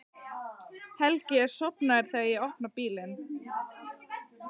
Helgi er sofnaður þegar ég opna bílinn.